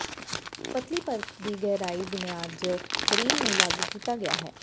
ਪਤਲੀ ਪਰਤ ਦੀ ਗਹਿਰਾਈ ਬੁਨਿਆਦ ਜ ਕਰੀਮ ਨੂੰ ਲਾਗੂ ਕੀਤਾ ਗਿਆ ਹੈ